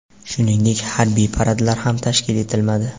Shuningdek, harbiy paradlar ham tashkil etilmadi.